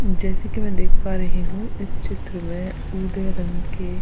जैसे कि मैं देख पा रही हूँ इस चित्र में उदय रंग के --